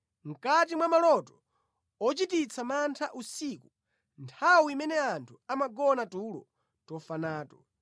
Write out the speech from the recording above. Mʼkati mwa maloto ochititsa mantha usiku, nthawi imene anthu amagona tulo tofa nato,